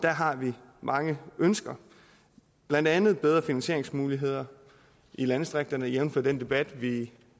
har vi mange ønsker blandt andet bedre finansieringsmuligheder i landdistrikterne jævnfør den debat vi